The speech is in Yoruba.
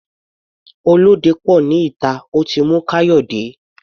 Olóde pò ní ìta, ó ti mú Kayode.